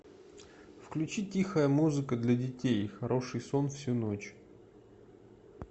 включи тихая музыка для детей хороший сон всю ночь